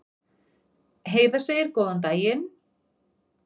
Heiða segir góðan daginn!